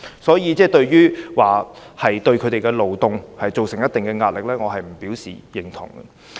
所以，說他們會對社會造成一定壓力，我不能表示認同。